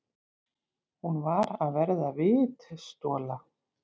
Hún var að verða vitstola.